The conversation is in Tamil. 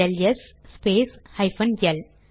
LS space hyphen L